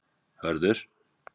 Hörður